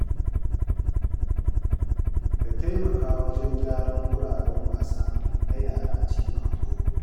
Ka taimaka wajen gyaran wuraren wasa na yara a cikin unguwa.